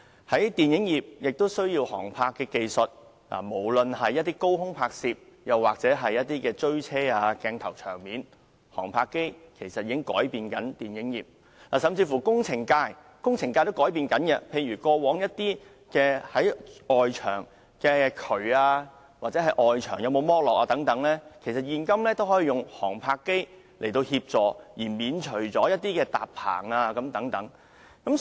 此外，電影業亦需要航拍技術，無論是高空拍攝或汽車追逐的鏡頭和場面，航拍機其實正在改變電影業；甚至是工程界也正在改變，例如，如要了解位於外牆的渠管或外牆剝落的情況等，現今已可以用航拍機協助，免除過往的搭棚工序。